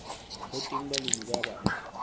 ho teng balemi ba batsho